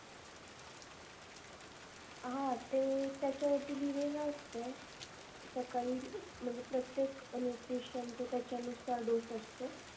हा ते त्याच्या वरती लिहलेल असतय. सकळी म्हणजे प्रत्येक nutrition च त्याच्यानुसार dose असतो.